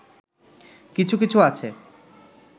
কিছু কিছু আছে